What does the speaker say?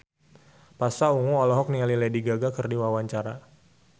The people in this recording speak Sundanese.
Pasha Ungu olohok ningali Lady Gaga keur diwawancara